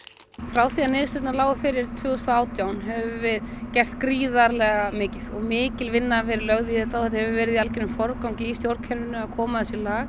frá því að niðurstöðurnar lágu fyrir tvö þúsund og átján höfum við gert gríðarlega mikið og mikil vinna verið lögð í þetta og þetta hefur verið í algjörum forgangi í stjórnkerfinu að koma þessu í lag